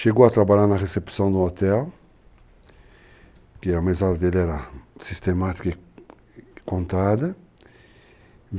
Chegou a trabalhar na recepção do hotel, que a mesada dele era sistemática e contada.